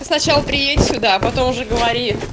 ты сначала приедь сюда а потом уже говори